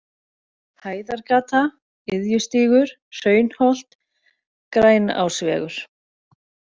Hæðargata, Iðjustígur, Hraunholt, Grænásvegur